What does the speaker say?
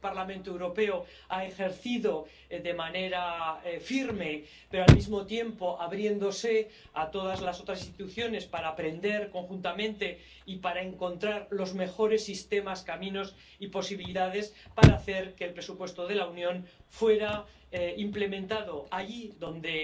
Este Parlamento Europeo ha ejercido de manera firme, pero al mismo tiempo abriéndose a todas las otras instituciones para aprender conjuntamente y para encontrar los mejores sistemas, caminos y posibilidades para hacer que el presupuesto de la Unión fuera implementado allí donde